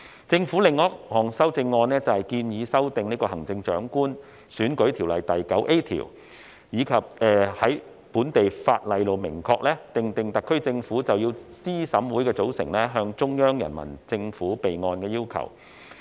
政府的另一項修正案，是建議修訂《行政長官選舉條例》第 9A 條，以在本地法例明確訂定特區政府須就資審會的組成向中央人民政府備案的要求。